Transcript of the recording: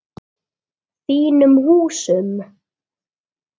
Þínum húsum?